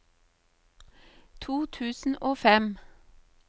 to tusen og fem